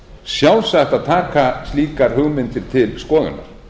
sjálfsagt að taka slíkar hugmyndir til skoðunar